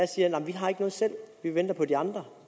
siger nej vi har ikke noget selv vi venter på de andre